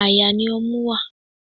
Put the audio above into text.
Àyà ni ọmú wá.